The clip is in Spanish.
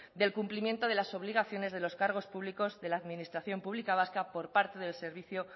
del cumplimiento de las obligaciones de los cargos públicos de la administración pública vasca por parte del servicio